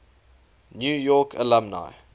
new york alumni